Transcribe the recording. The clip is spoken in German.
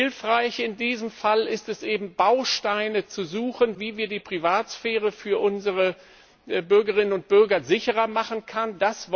Hilfreich in diesem Fall ist es eben, Bausteine zu suchen, wie wir die Privatsphäre für unsere Bürgerinnen und Bürger sicherer machen können.